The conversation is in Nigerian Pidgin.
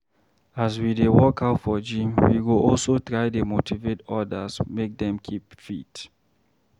As we dey workout for gym, we go also try dey motivate odas make dem keep fit.